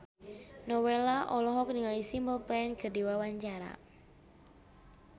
Nowela olohok ningali Simple Plan keur diwawancara